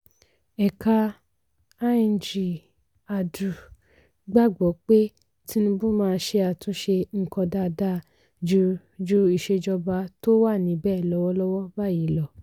ẹ̀ka lng: adu gbàgbọ́ pé tinubu máa ṣe àtúnṣe nǹkan dáadáa ju ju ìsèjọba tó wà níbẹ̀ lọ́wọ́lọ́wọ́ báyìí lọ.